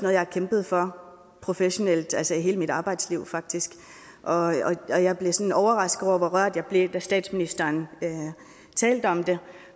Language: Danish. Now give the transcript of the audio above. jeg har kæmpet for professionelt i hele mit arbejdsliv faktisk og og jeg blev sådan overrasket over hvor rørt jeg blev da statsministeren talte om det